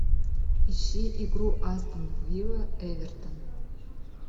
ищи игру астон вилла эвертон